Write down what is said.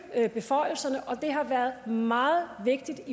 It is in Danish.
beføjelserne og det har været meget vigtigt